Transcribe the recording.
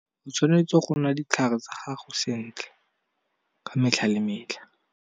O tshwanetse go nwa ditlhare tsa gago sentle ka metlha le metlha.